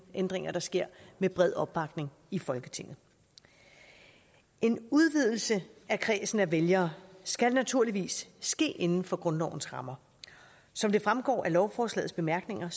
ændringer der sker med bred opbakning i folketinget en udvidelse af kredsen af vælgere skal naturligvis ske inden for grundlovens rammer som det fremgår af lovforslagets bemærkninger